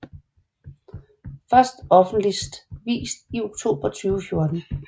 Først offentligt vist i oktober 2014